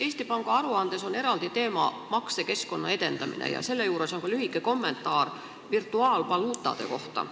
Eesti Panga aruandes on eraldi teema maksekeskkonna edendamine ja selle juures on ka lühike kommentaar virtuaalvaluutade kohta.